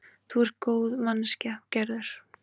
Þú ert góð manneskja, Gerður.